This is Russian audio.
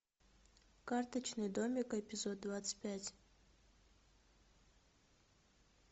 карточный домик эпизод двадцать пять